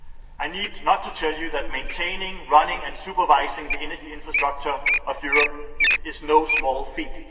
I need not tell you that maintaining, running and supervising the energy infrastructure of Europe is no small feat.